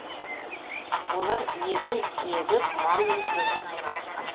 олар егін егіп мал өсірумен айналысқан